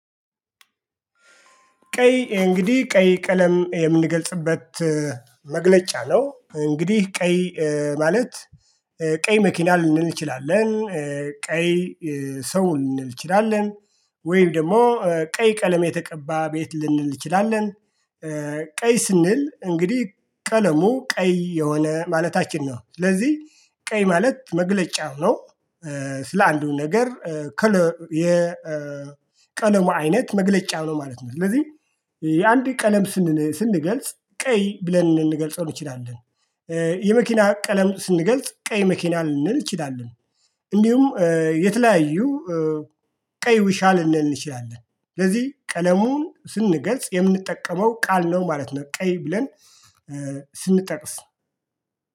ቀይ እንግዲህ ቀይ ቀለም የምንገልጽበት መግለጫ ነው። እንግዲህ ቀይ ማለት ቀይ መኪና ልንን እንችላለን ቀይ ሰው ልንል እንችላለን። ወይም ደግሞ ቀይ ቀለም የተቀባ ቤት ልንል እንችላለን። ቀይ ስንል እንግዲህ ቀለሙ ቀይ የሆነ ማለታችን ነው ስለዚህ ቀይ ማለት መግለጫው ነው። ስለ አንዱ ነገር የቀለሙ አይነት መግለጫ ነው ማለት ነው። ስለዚህ የአንድ ቀለም ስንገልጽ ቀይ ብለን ልንገልጸው እንችላለን። የመኪና ቀለም ስንገልጽ ቀይ መኪና ልንል እንችላለን። እንዲሁም የተለያዩ ቀይ ውሻ ልንል እንችላለን ስለዚህ ቀለሙን ስንገልጽ የምንጠቀመው ቃል ነው ማለት ነው። ቀይ ብለን ስንጠቅስ